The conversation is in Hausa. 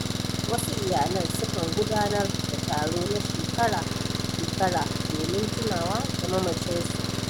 Wasu iyalan sukan gudanar da taro na shekara-shekara domin tunawa da mamacin su.